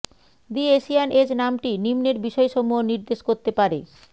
দি Asian Age নামটি নিম্নের বিষয়সমূহ নির্দেশ করতে পারেঃ